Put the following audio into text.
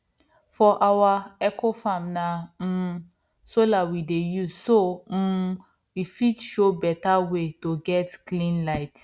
for our ecofarm na um solar we dey use so um we fit show better way to get clean light